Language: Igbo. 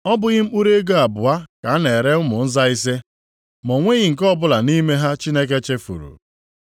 Ọ bụghị mkpụrụ ego abụọ ka a na-ere ụmụ nza ise? Ma o nweghị nke ọbụla nʼime ha Chineke chefuru.